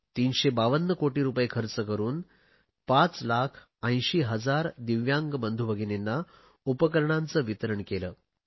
352 कोटी रुपये खर्च करुन 580000 दिव्यांग बंधू भगिनींना उपकरणांचे वितरण केले